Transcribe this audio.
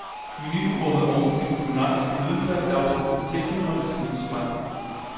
Menuen rummede oven på de kulinariske nydelser et afsluttende tilbud om lidt snustobak.